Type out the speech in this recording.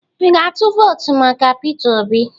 Ị ga-atụ vootu maka Peter Obi?